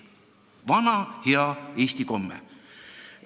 Vana hea eesti komme.